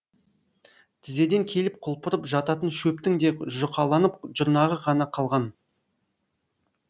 тізеден келіп кұлпырып жататын шөптің де жұқаланып жұрнағы ғана қалған